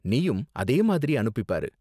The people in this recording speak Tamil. நீயும் அதே மாதிரி அனுப்பி பாரு